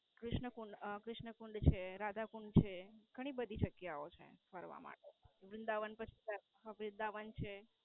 ક્રિષ્ન કુંડ અમ ક્રિષ્ન કુંડ છે, રાધા કુંડ છે. ઘણી બધી જગ્યા ઓ છે ફરવા માટે.